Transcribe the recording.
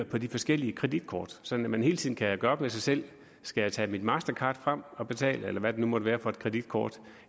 på de forskellige kreditkort sådan at man hele tiden kan gøre op med sig selv om skal tage sit mastercard frem og betale med eller hvad det nu måtte være for et kreditkort